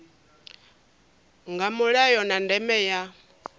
nga mulayo na ndeme ya